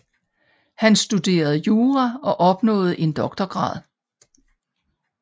Han studerede jura og opnåede en doktorgrad